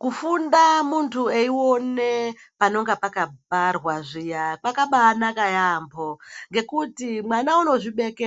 Kufunda muntu eione panonga pakabharwa zviya, kwakabaanaka yaampho, ngekuti mwana unozvibeke